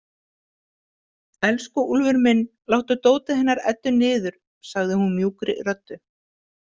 Elsku Úlfur minn, láttu dótið hennar Eddu niður, sagði hún mjúkri röddu.